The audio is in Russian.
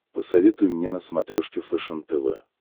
посоветуй мне на смотрешке фэшен тв